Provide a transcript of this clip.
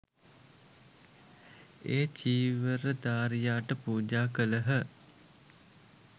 ඒ චීවරධාරියාට පූජා කළහ